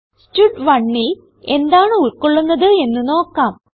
stud1ൽ എന്താണ് ഉൾകൊള്ളുന്നത് എന്ന് നോക്കാം